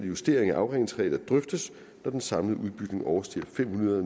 justering af afregningsregler drøftes når den samlede udbygning overstiger fem hundrede